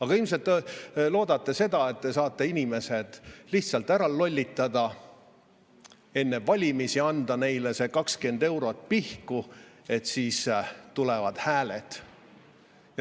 Aga ilmselt te loodate, et saate inimesed lihtsalt ära lollitada, anda neile enne valimisi see 20 eurot pihku, et siis tulevad hääled.